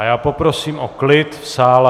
A já poprosím o klid v sále.